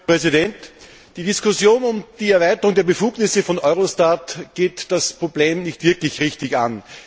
Herr Präsident! Die Diskussion um die Erweiterung der Befugnisse von Eurostat geht das Problem nicht wirklich richtig an.